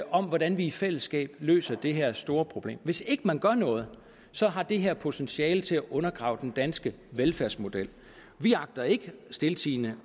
om hvordan vi i fællesskab løser det her store problem hvis ikke man gør noget så har det her potentiale til at undergrave den danske velfærdsmodel vi agter ikke stiltiende